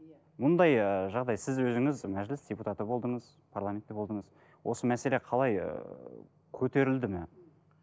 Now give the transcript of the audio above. мұндай ыыы жағдай сіз өзіңіз мәжіліс депутаты болдыңыз парламентте болдыңыз осы мәселе қалай ыыы көтерілді ме